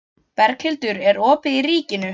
Berghildur, er opið í Ríkinu?